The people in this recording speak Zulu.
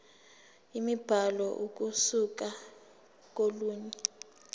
imibhalo ukusuka kolunye